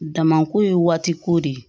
Damako ye waati ko de ye